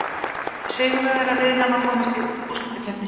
Sigurvegarar riðlanna komast í úrslitakeppni.